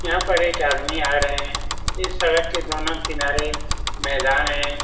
यहाँ पर एक आदमी आ रहें हैं। इस सड़क के दोनों किनारे मैदान है।